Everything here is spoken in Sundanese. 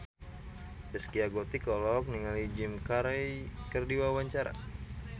Zaskia Gotik olohok ningali Jim Carey keur diwawancara